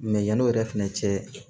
yanni o yɛrɛ fɛnɛ cɛ